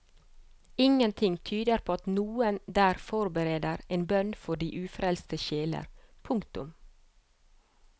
Ingenting tyder på at noen der forbereder en bønn for de ufrelste sjeler. punktum